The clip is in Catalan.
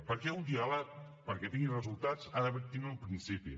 perquè un diàleg perquè tingui resultats ha de tindre un principi